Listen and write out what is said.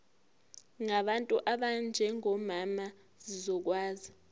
ngabantu abanjengomama zizokwazi